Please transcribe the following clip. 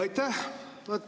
Aitäh!